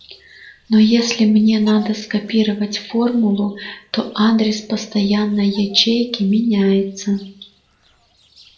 но если мне надо скопировать формулу то адрес постоянной ячейки меняется